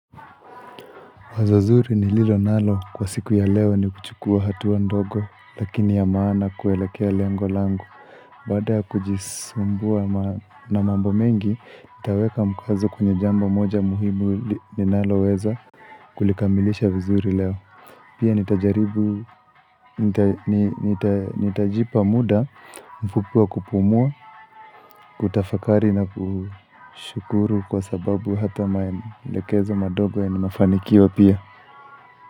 Wazo zuri nililo nalo kwa siku ya leo ni kuchukua hatua ndogo, lakini ya maana kuelekea lengo langu. Baada ya kujisumbua na mambo mengi, nitaweka mkwazo kwenye jambo moja muhimu ninaloweza kulikamilisha vizuri leo. Pia nitajipa muda mfupi wa kupumua, kutafakari na kushukuru kwa sababu hata maelekezo madogo yana mafanikio pia.